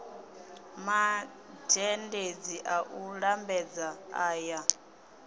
mazhendedzi a u lambedza aya